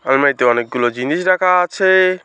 আলমারিতে অনেকগুলো জিনিস রাখা আছে।